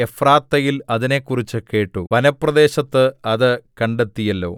നാം എഫ്രാത്തയിൽ അതിനെക്കുറിച്ച് കേട്ട് വനപ്രദേശത്ത് അത് കണ്ടെത്തിയല്ലോ